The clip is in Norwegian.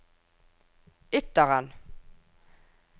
Ytteren